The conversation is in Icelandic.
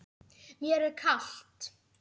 Mér er kalt.